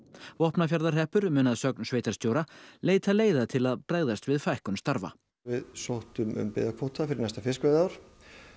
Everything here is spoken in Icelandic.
Vopnafjarðarhreppur mun að sögn sveitarstjóra leita leiða til að bregðast við fækkun starfa við sóttum um byggðakvóta fyrir næsta fiskveiðiár